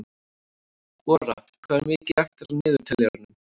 Ora, hvað er mikið eftir af niðurteljaranum?